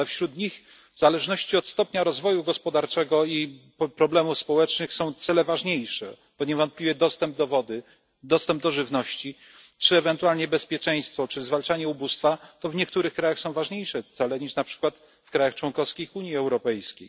Ale wśród nich w zależności od stopnia rozwoju gospodarczego i problemów społecznych są cele ważniejsze, bo niewątpliwie dostęp do wody, dostęp do żywności czy ewentualnie bezpieczeństwo, czy zwalczanie ubóstwa, to w niektórych krajach są to ważniejsze cele niż na przykład w krajach członkowskich Unii Europejskiej.